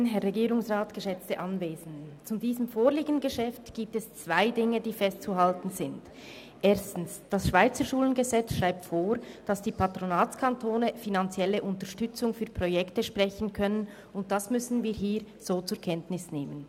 Erstens: Das Bundesgesetz über die Vermittlung schweizerischer Bildung im Ausland (Schweizerschulengesetz, SSchG) schreibt vor, dass die Patronatskantone finanzielle Unterstützung für Projekte sprechen können, und das müssen wir hier so zur Kenntnis nehmen.